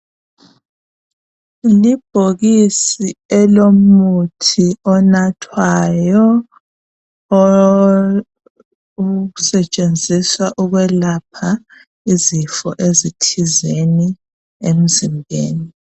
Libhokisi elomuthi onathwayo osetshenziswa ukwelapha izifo ezithize emzimbeni.